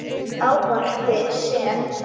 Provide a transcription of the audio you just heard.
Í ávarpi sem